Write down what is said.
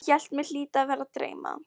Ég hélt mig hlyti að vera að dreyma.